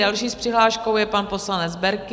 Další s přihláškou je pan poslanec Berki.